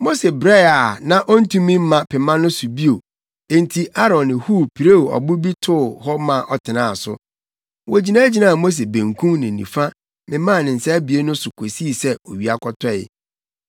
Mose brɛ a na ontumi mma pema no so bio enti Aaron ne Hur pirew ɔbo bi too hɔ ma ɔtenaa so. Wogyinagyinaa Mose benkum ne nifa memaa ne nsa abien no so kosii sɛ owia kɔtɔe.